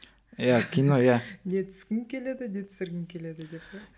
иә кино иә не түскің келеді не түсіргім келеді деп пе